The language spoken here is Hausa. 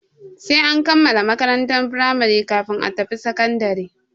Sai an kammala makarantar firamari kafin a tafi sakandare.